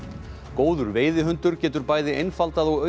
góður veiðihundur getur bæði einfaldað og